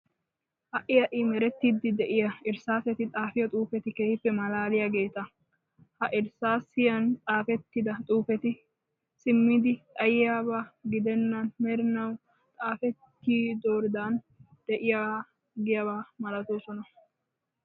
Ha"i ha"i merettiiddi de'iya irssaaseti xaafiyo xuufeti keehippe malaaliyageeta. Ha irssaasiyan xaafettida xuufeti simmidi xayiyaba gidennan merinawu xaafettidooridan de'iiggiyaba malatoosona.